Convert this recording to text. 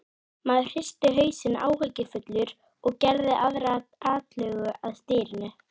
Maðurinn hristi hausinn áhyggjufullur og gerði aðra atlögu að stýrinu.